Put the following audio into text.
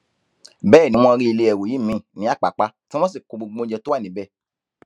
bẹẹ ni wọn rí ilé ẹrú yìí míín ní àpàpà tí wọn sì kó gbogbo ohun tó wà níbẹ